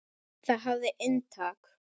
Það hafði inntak.